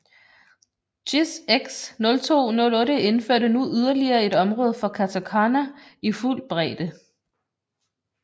JIS X 0208 indførte nu yderligere et område for katakana i fuld bredde